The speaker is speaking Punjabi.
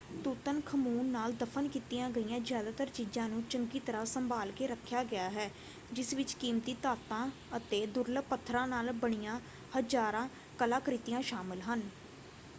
ਤੁਤਨਖਮੂਨ ਨਾਲ ਦਫ਼ਨ ਕੀਤੀਆਂ ਗਈਆਂ ਜਿਆਦਾਤਰ ਚੀਜਾਂ ਨੂੰ ਚੰਗੀ ਤਰ੍ਹਾਂ ਸੰਭਾਲ ਕੇ ਰੱਖਿਆ ਗਿਆ ਹੈ ਜਿਸ ਵਿੱਚ ਕੀਮਤੀ ਧਾਤਾਂ ਅਤੇ ਦੁਰਲੱਭ ਪੱਥਰਾਂ ਨਾਲ ਬਣੀਆਂ ਹਜਾਰਾਂ ਕਲਾਕ੍ਰਿਤੀਆਂ ਸ਼ਾਮਲ ਹਨ।